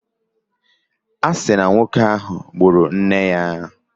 A si na nwoke ahụ gburu nne ya.